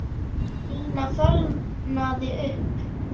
Nína fölnaði upp.